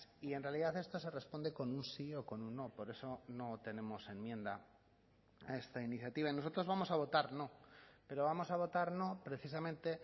y en realidad esto se responde con un sí o con un no por eso no tenemos enmienda a esta iniciativa y nosotros vamos a votar no pero vamos a votar no precisamente